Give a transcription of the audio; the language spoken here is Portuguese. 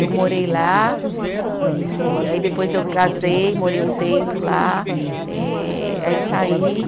Eu morei lá e aí depois eu casei, morei um tempo lá eh, aí saí.